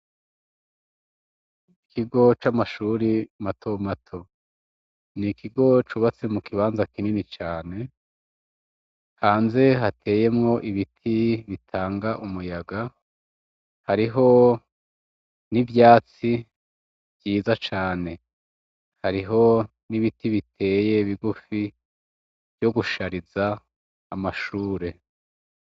Ikigo c'amashure mato mato, n'ikigo cubatse mukibanza kinini cane, hanze hateyemwo ibiti bitanga umuyaga ,hariho n'ivyatsi vyiza cane, hariho n'ibiti biteye bigufi, vyo gushariza amashure.